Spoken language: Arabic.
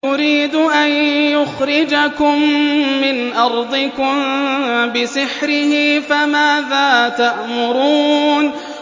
يُرِيدُ أَن يُخْرِجَكُم مِّنْ أَرْضِكُم بِسِحْرِهِ فَمَاذَا تَأْمُرُونَ